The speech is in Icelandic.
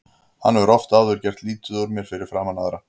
Hann hefur oft áður gert lítið úr mér fyrir framan aðra.